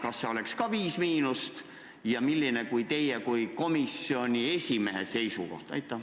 Kas see võiks samuti olla "5–"? Milline on teie kui komisjoni esimehe seisukoht?